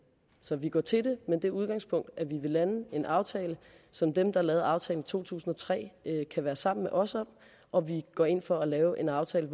så vi går til med det udgangspunkt at vi vil lande en aftale som dem der lavede aftalen i to tusind og tre kan være sammen med os om og vi går ind for at lave en aftale